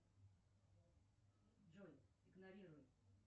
джой игнорируй